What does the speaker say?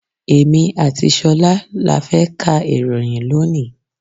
Èmi àti ṣolá là fẹ ká ìròyìn lónìí.